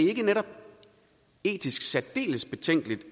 ikke netop etisk særdeles betænkeligt